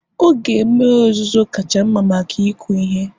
oge mmiri ozuzo kacha mma maka ịkụ ihe